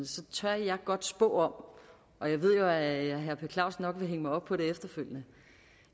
så tør jeg godt spå om og jeg ved jo at herre per clausen nok vil hænge mig op på det efterfølgende